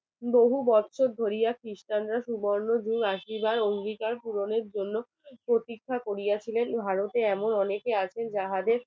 বহু বছর ধরিয়া খ্রিস্টানরা সুবর্ণ যুগ আসিবার অঙ্গীকার পূরণের জন্য প্রতীক্ষা করিয়াছিলেন ভারতে এমন অনেকে আছে যাহাদের